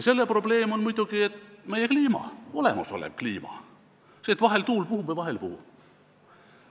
Selle probleem on muidugi meie kliima, see, et vahel tuul puhub ja vahel ei puhu.